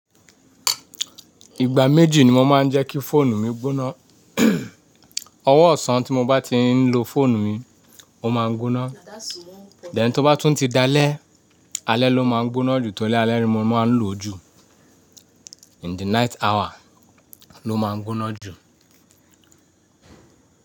Ìgbà méjì ni mo máa ń jẹ́ kí fóònù mi gbóná. Ọwọ́ ọ̀sán tí mo bá ti ń lo fóònù mi, ó máa ń gbóná. Then tí ó bá tún ti dalẹ́, alẹ́ ló máa ń gbóná jù torí alẹ́ ni mo máa ń lò ju. In the night hour ló máa ń gbóná jù.